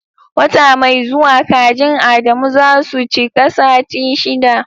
Wata mai zuwa kajin Adamu za su cika sati shiɗa.